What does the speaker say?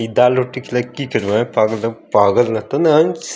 ई दाल रोटी खिलाई की कारणों है पागल रतन अंश --